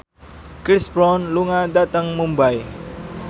Chris Brown lunga dhateng Mumbai